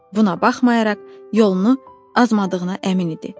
Buna baxmayaraq yolunu azladığına əmin idi.